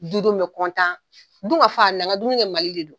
Du denw bɛ dun ka fa na ka dumunikɛ mali de don.